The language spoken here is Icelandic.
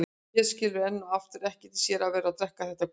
Hún skilur enn og aftur ekkert í sér að vera að drekka þetta gutl.